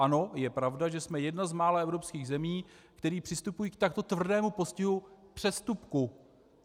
Ano, je pravda, že jsme jedna z mála evropských zemí, které přistupují k takto tvrdému postihu přestupku.